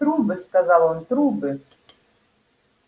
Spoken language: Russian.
трубы сказал он трубы